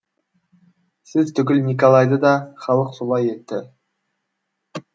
сіз түгіл николайды да халық солай етті